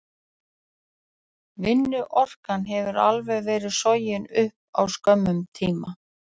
Vinnuorkan hefur alveg verið sogin upp á skömmum tíma.